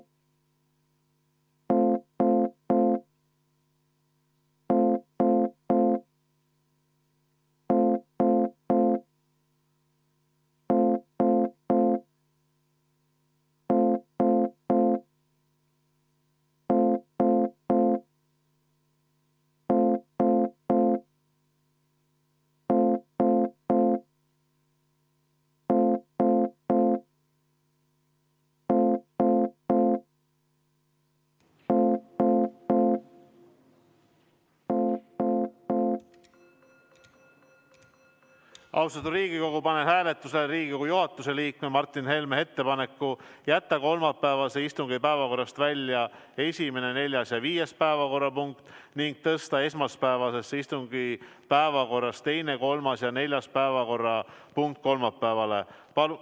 Austatud Riigikogu, panen hääletusele Riigikogu juhatuse liikme Martin Helme ettepaneku jätta kolmapäevase istungi päevakorrast välja 1., 4. ja 5. päevakorrapunkt ning tõsta esmaspäevase istungi päevakorrast 2., 3. ja 4. päevakorrapunkt kolmapäevale.